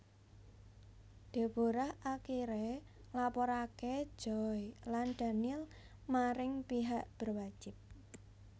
Deborah akiré nglaporaké Joy lan Daniel maring pihak berwajib